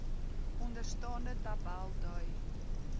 onderstaande tabel dui